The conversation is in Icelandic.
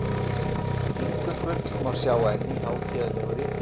Fingurgull má sjá enn í hátíðlegu ritmáli.